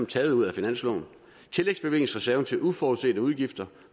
taget ud af finansloven tillægsbevillingsreserven til uforudsete udgifter